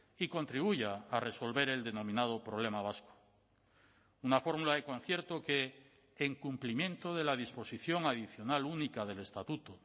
y contribuya a resolver el denominado problema vasco una fórmula de concierto que en cumplimiento de la disposición adicional única del estatuto